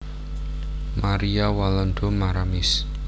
Maria Walanda Maramis